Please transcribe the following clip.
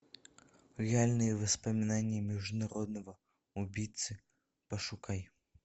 реальные воспоминания международного убийцы пошукай